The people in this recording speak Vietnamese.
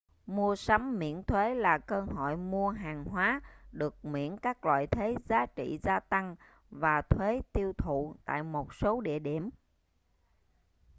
mua sắm miễn thuế là cơ hội mua hàng hóa được miễn các loại thuế giá trị gia tăng và thuế tiêu thụ tại một số địa điểm